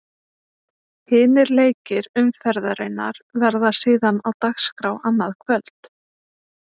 Hinir leikir umferðarinnar verða síðan á dagskrá annað kvöld.